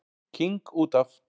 King út af.